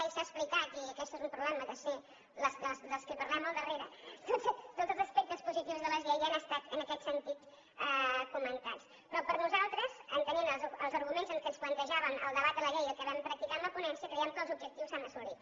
i s’ha explicat i aquest és un problema de ser dels qui parlem al darrere tots els aspectes positius de la llei ja han estat en aquest sentit comentats però per nosaltres entenent els arguments amb què ens plantejaven el debat de la llei i el que vam practicar en la ponència creiem que els objectius s’han assolit